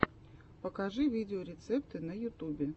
покажи видеорецепты на ютубе